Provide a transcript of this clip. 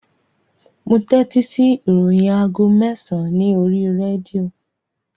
Mo tẹ́tí sí ìròyìn aago mẹ́sàn-án ní oríi rédíò